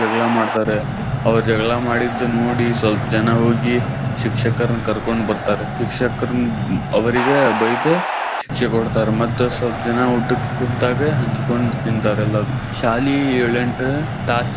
ಜಗಳಾ ಮಾಡ್ತಾರೆ ಅವ್ರ ಜಗಳಾ ಮಾಡಿದ್ದ ನೋಡಿ ಸ್ವಲ್ಪ್ ಜನಾ ಹೋಗಿ ಶಿಕ್ಷಕರನ್ ಕರ್ಕೊಂಡ್ ಬರ್ತಾರೆ. ಶಿಕ್ಷಕರ ಅವ್ರಿಗ ಬೈದ್ ಶಿಕ್ಷೆ ಕೊಡ್ತಾರ್. ಮತ್ ಸ್ವಲ್ಪ ಜನಾ ಊಟಕ್ ಕುಂತ್ತಾಗ ಹಂಚ್ಕೊಂಡ ತಿಂತಾರೆಲ್ಲಾರು ಶಾಲಿ ಎಳೆಂಟ್ ತಾಸು.